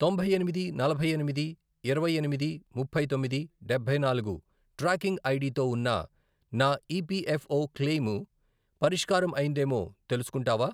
తొంభై ఎనిమిది, నలభై ఎనిమిది, యిరవై ఎనిమిది, ముప్పై తొమ్మిది, డబ్బై నాలుగు, ట్రాకింగ్ ఐడి తో ఉన్న నా ఈపిఎఫ్ఓ క్లెయిము పరిష్కారం అయ్యిందేమో తెలుసుకుంటావా?